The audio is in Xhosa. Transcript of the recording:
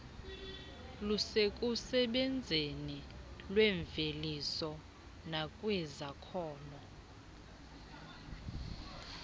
lusekusebenzeni kwemveliso nakwizakhono